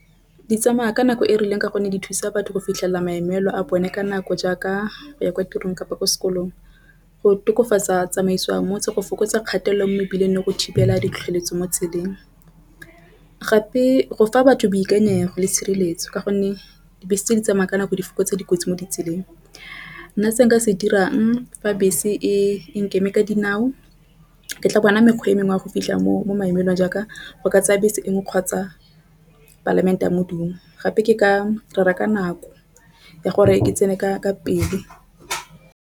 Di tsamaya ka nako e rileng ka gonne di thusa batho go fitlhelela maemelong a bone ka nako jaaka ya kwa tirong kapa ko sekolong. Go tokofatsa tsamaisiwang motse go fokotsa kgatelelo mo mebileng le go thibela ditlhotlheletso mo tseleng. Gape go fa batho boikanyego le sireletsa ka gonne dibese tse di tsamaya ka nako di fokotsa dikotsi mo ditseleng nna se nka se dirang fa bese e nkeme ka dinao. Ke tla bona mekgwa e mengwe a go fitlha mo maemelong jaaka o ka tsaya bese e nngwe kgotsa palamente a modumo gape ke ka reka nako ya gore ke tsene ka pele.